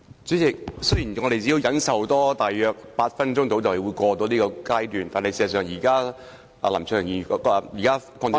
主席，雖然我們只要多忍受大約8分鐘便能度過這個階段，但是，事實上，現時林卓廷議員......